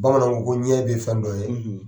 Bamananw ko ɲɛ bɛ fɛn dɔ ye.